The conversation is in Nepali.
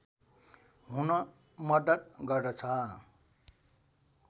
हुन मद्दत गर्दछ